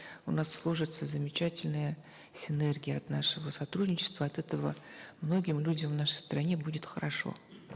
у нас сложится замечательная синергия от нашего сотрудничества от этого многим людям в нашей стране будет хорошо